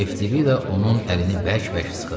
Eftibida onun əlini bərk-bərk sıxırdı.